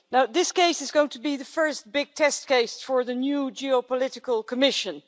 This case is going to be the first big test case for the new geopolitical Commission.